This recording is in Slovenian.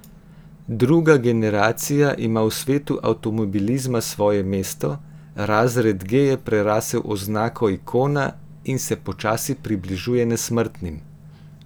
Druga generacija ima v svetu avtomobilizma svoje mesto, razred G je prerasel oznako ikona in se počasi približuje nesmrtnim.